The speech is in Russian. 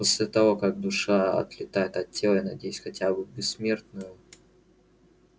после того как душа отлетает от тела я надеюсь хотя бы в бессмертную